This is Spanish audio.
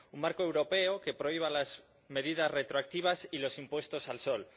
Un marco europeo que prohíba las medidas retroactivas y los impuestos al sol